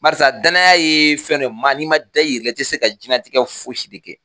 Barisa danaya ye fɛn dɔ ye maa n'i ma da i yɛrɛ la i tɛ se ka diɲɛlatigɛ foyi si de kɛ